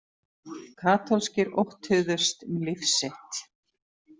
Katólskir óttuðust um líf sitt.